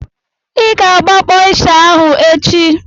I ga-agbakpọ ịsha ahụ echi!